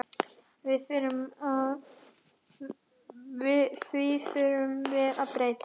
Því þurfum við að breyta.